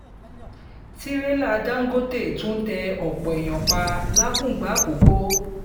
tìrẹ̀là dàńgọ́tẹ̀ tún tẹ ọ̀pọ̀ èèyàn pa làkùngbà àkọ́kọ́